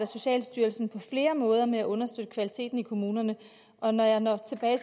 socialstyrelsen på flere måder arbejder med at undersøge kvaliteten i kommunerne og når jeg når til